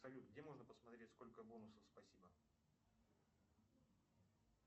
салют где можно посмотреть сколько бонусов спасибо